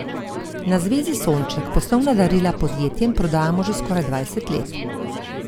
Na Zvezi Sonček poslovna darila podjetjem prodajamo že skoraj dvajset let.